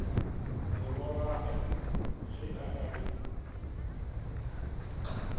morwagwe ge a ka be